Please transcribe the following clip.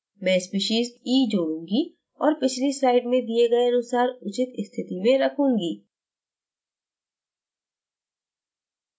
मैं species e जोड़ूंगी और पिछली slide में दिए गए अनुसार उचित स्थिति में रखूंगी